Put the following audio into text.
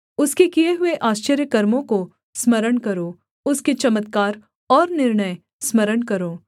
उसके किए हुए आश्चर्यकर्मों को स्मरण करो उसके चमत्कार और निर्णय स्मरण करो